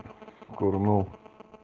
курнул